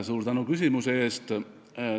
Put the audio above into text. Suur tänu küsimuse eest!